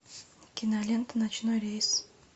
кинолента ночной рейс